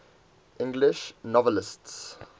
english novelists